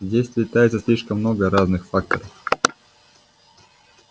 здесь сплетается слишком много разных факторов